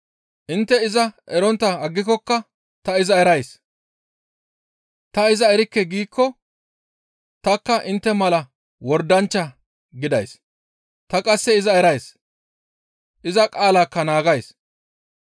Intte iza erontta aggikokka ta iza erays. Ta iza erikke giikko tanikka intte mala wordanchcha gidays; ta qasse iza erays; iza qaalaakka naagays.